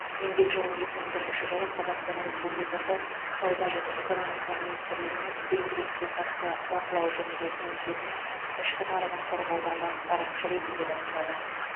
еңбек жолын екі мың бірінші жылы қазақстан республикасы сауда және экономика министрлігінің демпингке қарсы бақылау жөніндегі комитетінің ішкі нарығын қорғауда бас сарапшы ретінде бастады